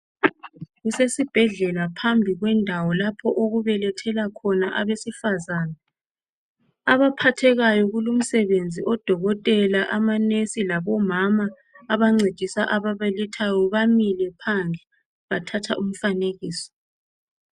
Kusesibhedlela phambi kwendawo lapho okubelethela khona abesifazana. Abaphathekayo kulumsebenzi odokotela, amanesi labomama abancedisa ababelethayo bamile. phandle bathatha umfanekiso